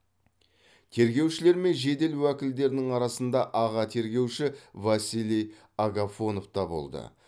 тергеушілер мен жедел уәкілдердің арасында аға тергеуші василий агафонов та болды